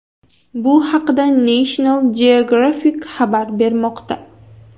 Bu haqda National Geographic xabar bermoqda .